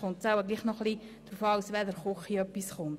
Offenbar ist es manchmal wichtig, aus welcher Küche etwas kommt.